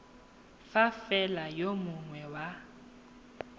fa fela yo mongwe wa